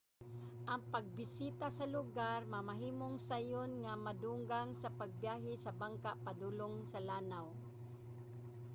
ang pagbisita sa lugar mamahimong sayon nga madungan sa pagbiyahe sa bangka padulong sa lanaw